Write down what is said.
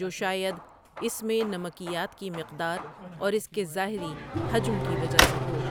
جو شاید اس میں نمکیات کی مقدار اور اس کے ظاہری حجم کی وجہ سے ہو۔